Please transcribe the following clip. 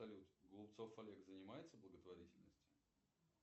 салют голубцов олег занимается благотворительностью